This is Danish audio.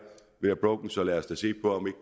broke så lad os da se på om